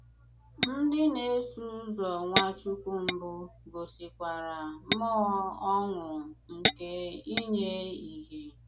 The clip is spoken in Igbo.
Ndì na-èsò ụzọ Nwàchùkwù mbụ gòsìkwàrà mmùọ̀ ọṅụ̀ nke ìnyè ìhé.